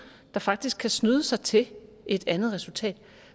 der faktisk kan snyde sig til et andet resultat